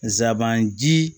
Nsaban ji